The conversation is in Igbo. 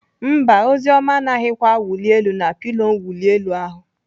Mba, Oziọma anaghịkwa awụli elu na pilo mwuli elu ahụ.